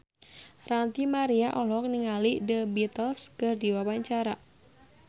Ranty Maria olohok ningali The Beatles keur diwawancara